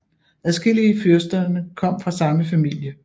Adskillige fyrsterne kom fra samme familie